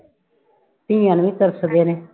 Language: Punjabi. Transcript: ਧੀਆਂ ਨੂੰ ਹੀ ਤਰਸਦੇ ਨੇ